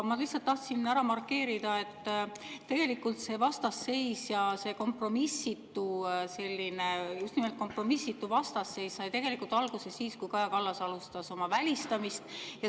Ma lihtsalt tahtsin ära markeerida, et tegelikult see vastasseis, see kompromissitu, just nimelt kompromissitu vastasseis sai alguse siis, kui Kaja Kallas alustas oma välistamist.